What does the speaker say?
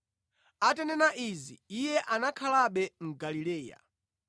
Atanena izi, Iye anakhalabe mu Galileya.